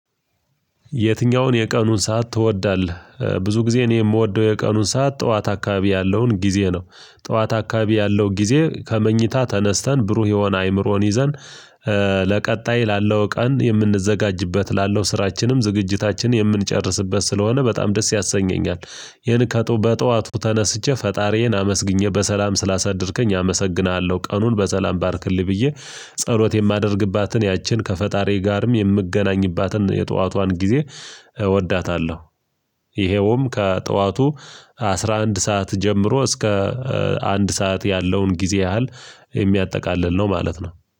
የትኛውን የቀኑን ሰዓት ትወዳለህ ብዙ ጊዜ እኔ የምወደው የቀኑን ሰዓት ጠዋት አካባቢ ያለውን ጊዜ ነው፤ ጠዋት አካባቢ ያለው ጊዜ ከመኝታ ተነስተን ብሩህ የሆነ አይምሮን ይዘን ለቀጣይ ላለው ቀን የምንዘጋጅበት ላለው ስራችንም ዝግጅታችን የምንጨርስበት ስለሆነ በጣም ደስ ያሰኘኛል ይህን ከጥቱ በጠዋቱ ተነስቼ ፈጣሪዬን አመስግኜ በሰላም ስላሳደርከኝ አመሰግንሃለሁ ቀኑን በሰላም ባርክልኝ ብዬ ጸሎት የማደርግባትን ያችን ከፈጣሪ ጋርም የምገናኝባትን የጠዋቷን ጊዜ እወዳታለሁ። ይሄውም ከጧቱ አስራ አንድ ሰዓት ጀምሮ እስከ አንድ ሰዓት ያለውን ጊዜ ያህል የሚያጠቃልል ነው ማለት ነው።